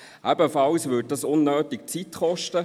Zudem würde es unnötigerweise Zeit kosten.